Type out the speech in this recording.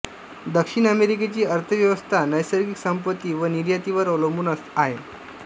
दक्षिण अमेरिकेची अर्थव्यवस्था नैसर्गिक संपत्ती व निर्यातीवर अवलंबून आहे